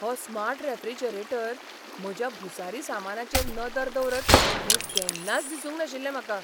हो smart refrigerator म्हज्या भुसारी सामानाचेर नदर दवरत म्हूण केन्नाच दिसूंक नाशिल्लें म्हाका.